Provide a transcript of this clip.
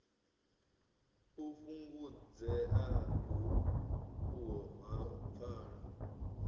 u fhungudzea uho ha pfala